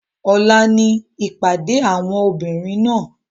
Ọ̀la ni ìpàdé àwọn obìnrin náà.